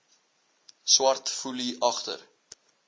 swart foelie agter